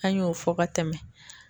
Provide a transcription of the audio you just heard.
An y'o fɔ ka tɛmɛ.